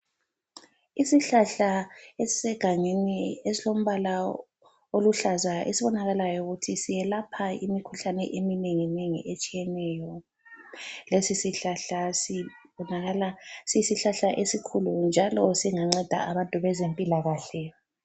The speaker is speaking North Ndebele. Isihlahla esisegangeni esilombala oluhlaza esibonakalayo ukuthi siyelapha imikhuhlane eminenginengi etshiyeneyo. Lesisihlahla sibonakala siyisihlahla esikhulu njalo singanceda abantu bezempilakahle.